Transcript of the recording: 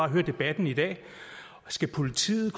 høre debatten i dag skal politiet